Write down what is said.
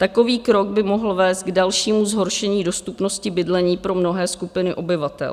Takový krok by mohl vést k dalšímu zhoršení dostupnosti bydlení pro mnohé skupiny obyvatel.